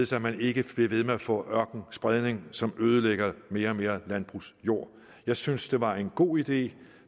så man ikke bliver ved med at få ørkenspredning som ødelægger mere og mere landbrugsjord jeg syntes det var en god idé